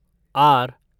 are